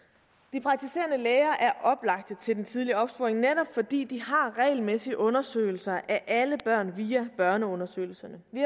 de praktiserende læger er oplagte til den tidlige opsporing netop fordi de har regelmæssig undersøgelse af alle børn via børneundersøgelserne vi